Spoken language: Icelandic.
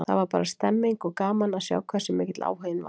Það var bara stemmning, og gaman að sjá hversu mikill áhuginn var.